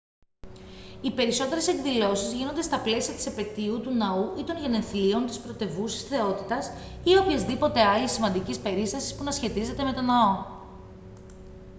οι περισσότερες εκδηλώσεις γίνονται στα πλαίσια της επετείου του ναού ή των γενεθλίων της πρωτευούσης θεότητας ή οποιασδήποτε άλλης σημαντικής περίστασης που να σχετίζεται με το ναό